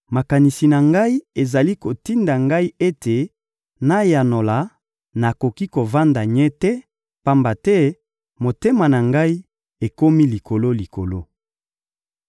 «Makanisi na ngai ezali kotinda ngai ete nayanola, nakoki kovanda nye te, pamba te motema na ngai ekomi likolo-likolo.